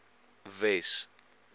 wes